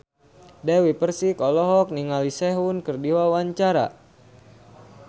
Dewi Persik olohok ningali Sehun keur diwawancara